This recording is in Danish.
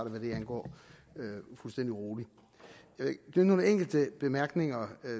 hvad det angår fuldstændig roligt der er nogle enkelte bemærkninger